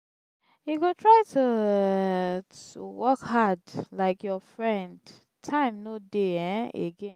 you go try to um work hard um like your friend time no dey um again.